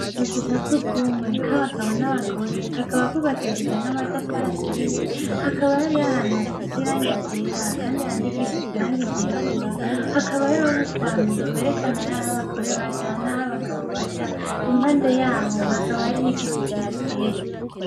Akazu ka surwumwe k' abagabo n' abagore, kakaba kubakishijwe n' amatafari aturiye, hakaba hariyo ahantu hasize irangi ryera kandi handikishije irangi ryirabura. Hakaba hariyo utwampi twerekana aho abagore baja n' aho abagabo baja, impande hakaba hariho igiti kihateye.